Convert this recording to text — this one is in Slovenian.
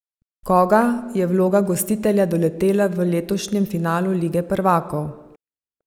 Koga je vloga gostitelja doletela v letošnjem finalu lige prvakov?